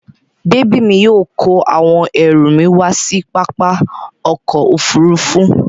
Bèbí mi yóò àwọn ẹrù mi wá sí pápá ọkọ̀-òfurufú.